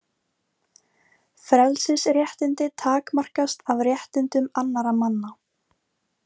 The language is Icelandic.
Frelsisréttindi takmarkast af réttindum annarra manna.